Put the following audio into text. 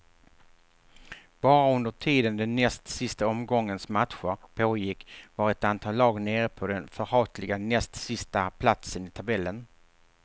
Bara under tiden den näst sista omgångens matcher pågick var ett antal lag nere på den förhatliga näst sista platsen i tabellen.